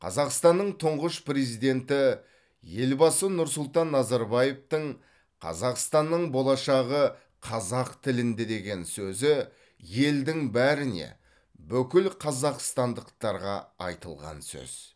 қазақстанның тұңғыш президенті елбасы нұрсұлтан назарбаевтың қазақстанның болашағы қазақ тілінде деген сөзі елдің бәріне бүкіл қазақстандықтарға айтылған сөз